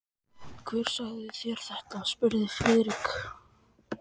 Hver sagði þér þetta? spurði Friðrik.